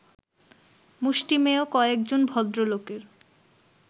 মুষ্টিমেয় কয়েকজন ভদ্রলোকের